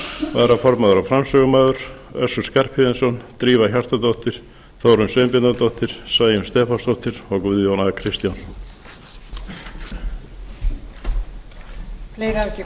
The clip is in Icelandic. varaformaður og framsögumaður össur skarphéðinsson drífa hjartardóttir þórunn sveinbjarnardóttir sæunn stefánsdóttir og guðjón a kristjánsson